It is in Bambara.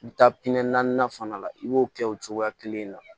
I bɛ taa naani fana la i b'o kɛ o cogoya kelen na